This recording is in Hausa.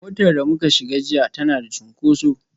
Motar da muka shiga jiya tana da cunkoso